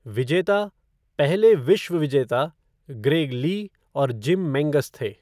विजेता, पहले "विश्व विजेता", ग्रेग ली और जिम मेंगस थे।